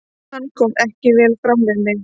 Hann kom ekki vel fram við mig.